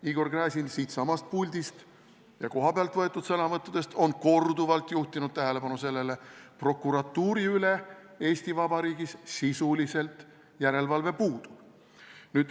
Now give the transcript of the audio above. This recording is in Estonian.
Igor Gräzin on siitsamast puldist ja kohapealt tehtud sõnavõttudes korduvalt juhtinud tähelepanu sellele: prokuratuuri üle Eesti Vabariigis sisuliselt järelevalve puudub.